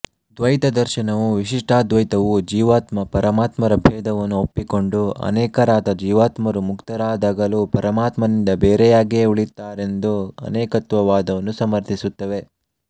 ದ್ವೈತದರ್ಶನವೂ ವಿಶಿಷ್ಟಾದ್ವೈತವೂ ಜೀವಾತ್ಮ ಪರಮಾತ್ಮರ ಭೇದವನ್ನು ಒಪ್ಪಿಕೊಂಡು ಅನೇಕರಾದ ಜೀವಾತ್ಮರು ಮುಕ್ತರಾದಾಗಲೂ ಪರಮಾತ್ಮನಿಂದ ಬೇರೆಯಾಗಿಯೆ ಉಳಿಯುತ್ತಾರೆಂದು ಅನೇಕತ್ವವಾದವನ್ನು ಸಮರ್ಥಿಸುತ್ತವೆ